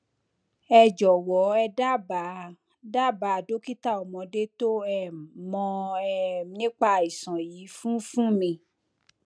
ẹ jọwọ ẹ dábàá dábàá dókítà ọmọdé tó um mọ um nípa àìsàn yìí funfún mi